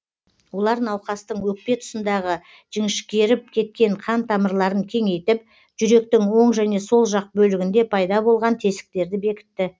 олар науқастың өкпе тұсындағы жіңішкеріп кеткен қан тамырларын кеңейтіп жүректің оң және сол жақ бөлігінде пайда болған тесіктерді бекітті